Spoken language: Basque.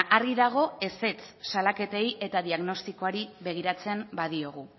argi dago ezetz salaketei eta diagnostikoari begiratzen badiogu